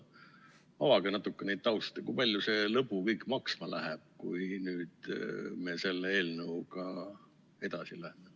Avage natuke seda tausta, kui palju see lõbu kõik maksma läheb, kui me selle eelnõuga edasi läheme.